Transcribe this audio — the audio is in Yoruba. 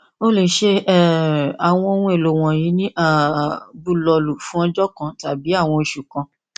o le ṣe um awọn ohun elo wọnyi ni um bulọọlu fun ọjọ kan tabi awọn oṣu kan